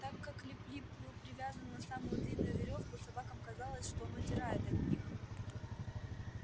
так как лип лип был привязан на самую длинную верёвку собакам казалось что он удирает от них